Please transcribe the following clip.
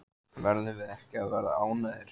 Verðum við ekki að vera ánægðir?